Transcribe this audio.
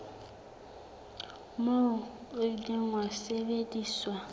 moo o ile wa sebediswa